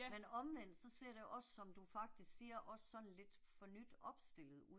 Men omvendt så ser det også som du faktisk siger også sådan lidt for nyt opstillet ud